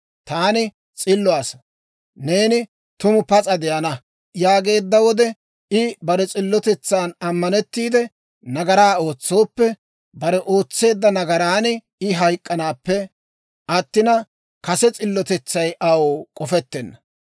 Taani s'illo asaa, «Neeni tumu pas'a de'ana» yaageedda wode, I bare s'illotetsan ammanettiide nagaraa ootsooppe, bare ootseedda nagaran I hayk'k'anaappe attina, kase s'illotetsay aw k'ofettenna.